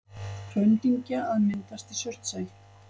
Hraundyngja að myndast í Surtsey.